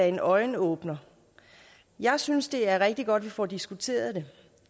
en øjenåbner jeg synes det er rigtig godt vi får diskuteret det